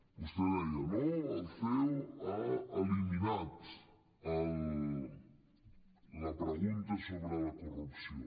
vostè deia no el ceo ha eliminat la pregunta sobre la corrupció